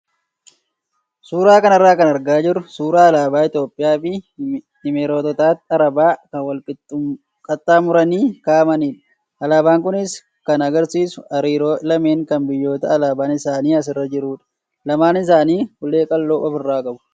Suuraa kanarraa kan argaa jirru suuraa alaabaa Itoophiyaa fi Imireetota Arabaa kan wal qaxxaamuranii kaa'amanidha. Alaabaan kunis kan agarsiisu hariiroo lameenii kan biyyoota alaabaan isaanii asirra jirudha. Lamaan isaanii ulee qal'oo ofirraa qabu.